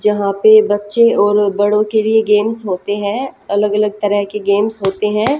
जहां पे बच्चे और बड़ो के लिए गेम्स होते है अलग अलग तरह के गेम्स होते है।